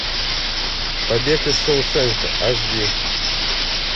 побег из шоушенка аш ди